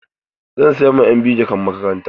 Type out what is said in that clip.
Zan saya ma ƴan biyu jakan makaranta.